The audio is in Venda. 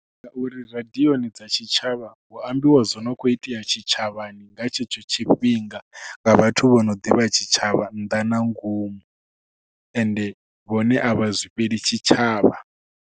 Ngauri radioni dza tshitshavha hu ambiwa zwo no khou itea tshitshavhani nga tshetsho tshifhinga nga vhathu vho no ḓivha tshitshavha nnḓa na ngomu ende vhone a vha zwifheli tshitshavha.